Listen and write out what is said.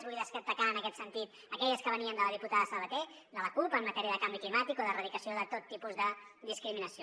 vull destacar en aquest sentit aquelles que venien de la diputada sabater de la cup en matèria de canvi climàtic o d’erradicació de tot tipus de discriminació